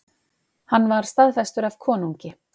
Hann var staðfestur af konungi.